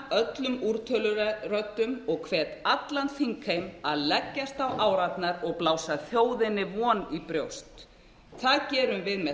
öllum úrtöluröddum og hvet allan þingheim að leggjast á árarnar og blása þjóðinni von í brjóst það gerum við með